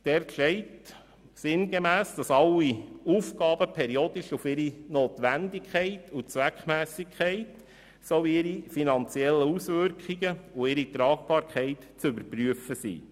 Dort steht sinngemäss, dass alle Aufgaben periodisch auf ihre Notwendigkeit und Zweckmässigkeit sowie auf ihre finanziellen Auswirkungen und ihre Tragbarkeit zu überprüfen sind.